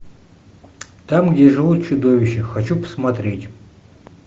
там где живут чудовища хочу посмотреть